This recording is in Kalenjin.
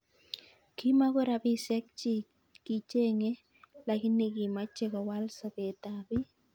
Kimoko rabisiek chi kichenge lakini kimeche kowal sopet ab biik.